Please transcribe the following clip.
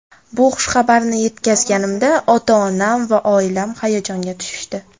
Bu xushxabarni yetkazganimda, ota-onam va oilam hayajonga tushishdi.